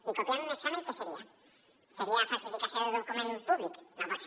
i copiar un examen què seria seria falsificació de document públic no pot ser